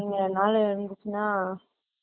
இங்க நாள் இருந்துச்சுனா